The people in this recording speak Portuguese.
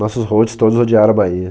Nossos hosts todos odiaram a Bahia.